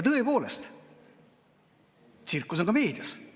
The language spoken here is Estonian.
Tõepoolest, tsirkust on ka meedias.